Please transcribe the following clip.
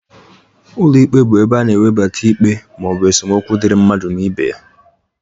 Ụlọ ikpe bụ ebe a na-ewebata ikpe ma ọ bụ esemokwu dịri mmadụ na ibe ya.